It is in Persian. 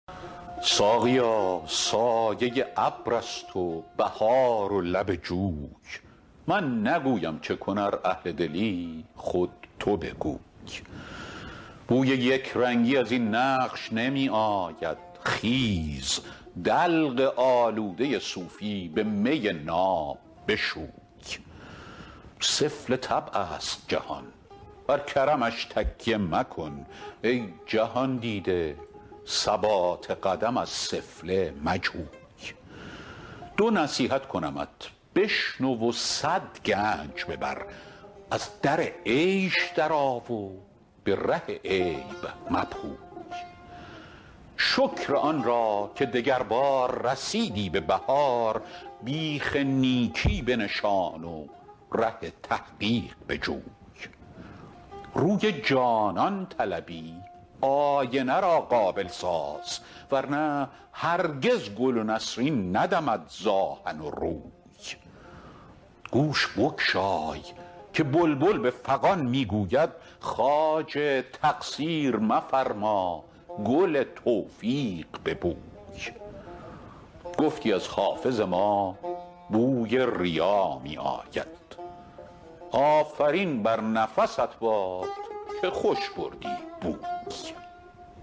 ساقیا سایه ابر است و بهار و لب جوی من نگویم چه کن ار اهل دلی خود تو بگوی بوی یک رنگی از این نقش نمی آید خیز دلق آلوده صوفی به می ناب بشوی سفله طبع است جهان بر کرمش تکیه مکن ای جهان دیده ثبات قدم از سفله مجوی دو نصیحت کنمت بشنو و صد گنج ببر از در عیش درآ و به ره عیب مپوی شکر آن را که دگربار رسیدی به بهار بیخ نیکی بنشان و ره تحقیق بجوی روی جانان طلبی آینه را قابل ساز ور نه هرگز گل و نسرین ندمد ز آهن و روی گوش بگشای که بلبل به فغان می گوید خواجه تقصیر مفرما گل توفیق ببوی گفتی از حافظ ما بوی ریا می آید آفرین بر نفست باد که خوش بردی بوی